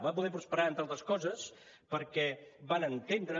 va poder prosperar entre altres coses perquè van entendre